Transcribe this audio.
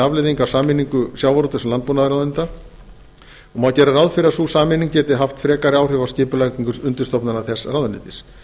afleiðing af sameiningu sjávarútvegs og landbúnaðarráðuneyta og má reikna með að sú sameining geti haft frekari áhrif á skipulagningu undirstofnana þess ráðuneytis